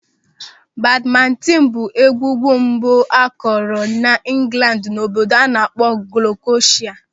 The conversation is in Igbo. Badmintin bụ egwugwu mbụ akụrụ n'Ingland n'obodo a na-akpọ Glukoshia.